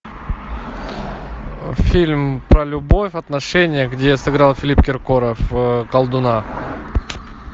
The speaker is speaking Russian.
фильм про любовь отношения где сыграл филипп киркоров колдуна